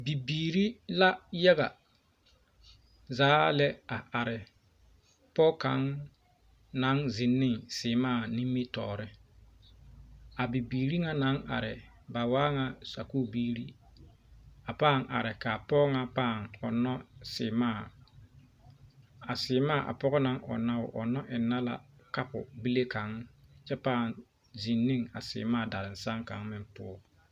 Bibiiri la yaga zaa lɛ a are Pɔge kaŋ naŋ zeŋ seɛmaa nimitɔɔreŋ a bibiiri ŋa naŋ are ba waa ŋa Sakubiiri a paa are kaa Pɔge ŋa paa ɔnno seɛmaa a seɛmaa a pɔɔ naŋ ɔnno o ɔnno enɛɛ kapo bile kaŋ poɔ kyɛ paa zeŋ a seɛmaa darasan kaŋa poɔ